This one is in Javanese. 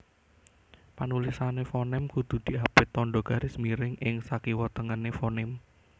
Panulisane fonem kudu diapit tandha garis miring ing sakiwatengene fonem